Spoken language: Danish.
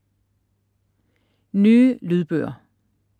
Nye lydbøger